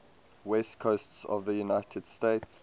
west coast of the united states